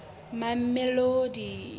mamelodi